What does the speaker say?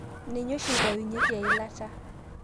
Ninye oshi eitayunyeki eilata.